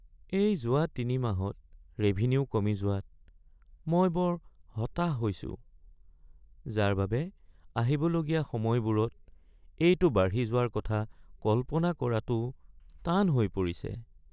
এই যোৱা তিনিমাহত ৰেভিনিউ কমি যোৱাত মই বৰ হতাশ হৈছোঁ যাৰ বাবে আহিবলগীয়া সময়বোৰত এইটো বাঢ়ি যোৱাৰ কথা কল্পনা কৰাটো টান হৈ পৰিছে।